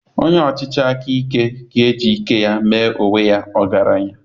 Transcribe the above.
Onye ọchịchị aka ike ga-eji ike ya mee onwe ya ọgaranya